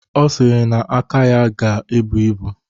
Ọ sịrị na aka ya ga-ebu ibu.